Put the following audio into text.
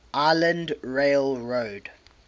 island rail road